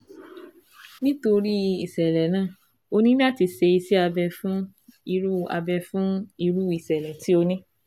Nítorí ìṣẹ̀lẹ̀ náà, ó ní láti ṣe iṣẹ́ abẹ fún irú abẹ fún irú ìṣẹ̀lẹ̀ tí o ní